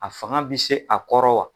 A fanga bɛ se a kɔrɔ wa ?